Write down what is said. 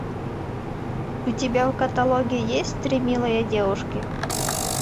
у тебя в каталоге есть три милые девушки